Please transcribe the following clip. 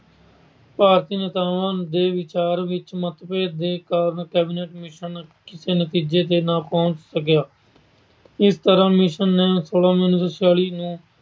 ਭਾਰਤੀ ਨੇਤਾਵਾਂ ਦੇ ਵਿਚਾਰ ਵਿੱਚ ਮਤਭੇਦ ਕਾਰਨ Cabinet Mission ਕਿਸੇ ਨਤੀਜੇ ਤੇ ਨਾ ਪਹੁੰਚ ਸਕਿਆ। ਇਸ ਤਰ੍ਹਾਂ Mission ਸੌਲਾਂ ਮਈ ਉਨੀ ਸੌ ਛਿਆਲੀ ਨੇ